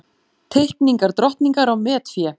Teikningar drottningar á metfé